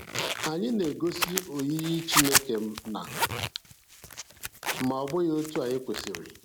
Anyị na-egosi oyiyi Chineke na, ma ọ bụghị otu anyị kwesịrị.